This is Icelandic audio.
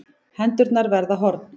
Hendurnar verða horn.